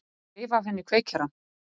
Og reif af henni kveikjarann.